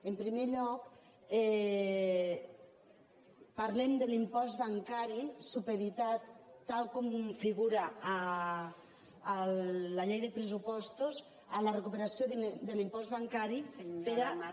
en primer lloc parlem de l’impost bancari supeditat tal com figura a la llei de pressupostos a la recuperació de l’impost bancari per a